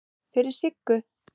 Fyrir Siggu.